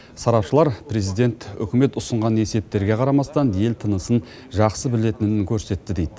сарапшылар президент үкімет ұсынған есептерге қарамастан ел тынысын жақсы білетінін көрсетті дейді